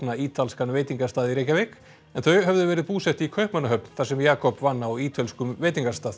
ítalskan veitingastað í Reykjavík en þau höfðu verið búsett í Kaupmannahöfn þar sem Jakob vann á ítölskum veitingastað